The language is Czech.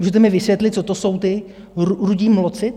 Můžete mi vysvětlit, co to jsou ti rudí mloci?